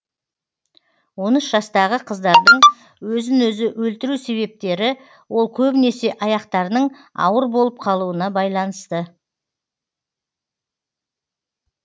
он үш жастағы қыздардың өзін өзі өлтіру себептері ол көбінесе аяқтарының ауыр болып қалуына байланысты